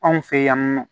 Anw fɛ yan nɔ